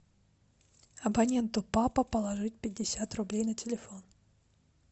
абонентку папа положить пятьдесят рублей на телефон